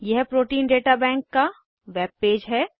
यह protein data bank का web page है